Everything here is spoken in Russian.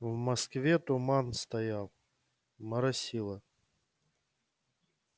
в москве туман стоял моросило